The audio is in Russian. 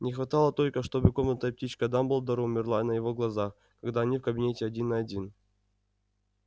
не хватало только чтобы комнатная птичка дамблдора умерла на его глазах когда они в кабинете один на один